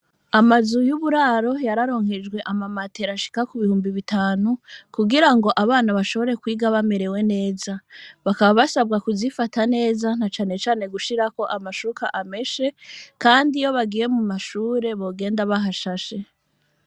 Amazu y'uburaro yararonkejwe amamatera ashika ku bihumbi bitanu, kugira ngo abana bashobore kwiga bamerewe neza, bakaba basabwa kuzifata neza na cane cane gushirako amashuka ameshe, kandi iyo bagiye mu mashure bogenda bahashashe.